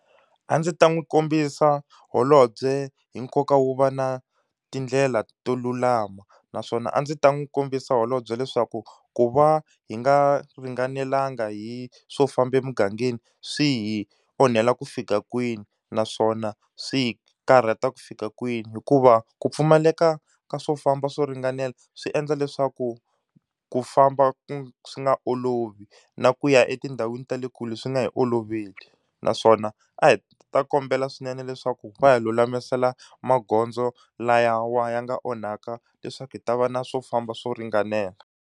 A ndzi ta n'wi kombisa holobye hi nkoka wo va na tindlela to lulama. Naswona a ndzi ta n'wi kombisa holobye leswaku ku va hi nga ringanelanga hi swo famba emugangeni swi hi onhela ku fika kwini, naswona swi hi karhata ku fika kwini. Hikuva ku pfumaleka ka swo famba swo ringanela swi endla leswaku ku famba swi nga olovi, na ku ya etindhawini ta le kule leswi nga hi oloveli. Naswona a hi ta kombela swinene leswaku va hi lulamisela magondzo lawa ya ya nga onhaka leswaku hi ta va na swo famba swo ringanela.